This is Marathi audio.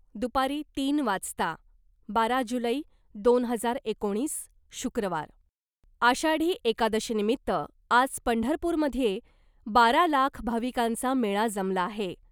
दुपारी तीन वाजता बारा जुलै , दोन हजार एकोणीस, शुक्रवार, आषाढी एकादशीनिमित्त आज पंढरपूरमध्ये बारा लाख भाविकांचा मेळा जमला आहे .